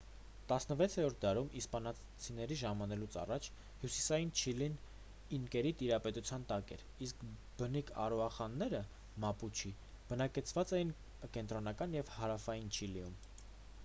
16-րդ դարում՝ իսպանացիների ժամանելուց առաջ հյուսիսային չիլին ինկերի տիրապետության տակ էր իսկ բնիկ արաուախանները մապուչի բնակեցված էին կենտրոնական և հարավային չիլիում: